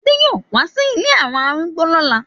Ade yoo wa si ìlé awọn arúgbó lola